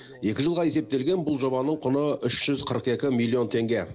екі жылға есептелген бұл жобаның құны үш жүз қырық екі миллион теңге